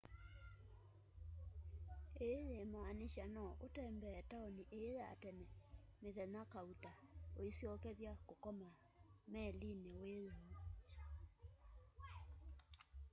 ii yimaanisha no utembee taoni ii ya tene mithenya kauta uisyokethya kukoma melini wiyoo